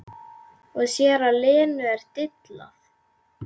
Og sér að Lenu er dillað.